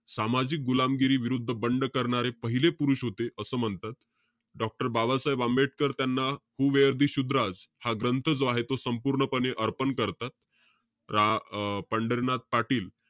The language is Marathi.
सामाजिक गुलामगिरीविरुद्ध बंड करणारे पहिले पुरुष होते, असं म्हणतात. Doctor बाबासाहेब आंबेडकर त्यांना हू वेअर द शुद्रास, हा ग्रंथ जो आहे तो संपूर्णपणे अर्पण करतात. रा~ अं पंढरीनाथ पाटील,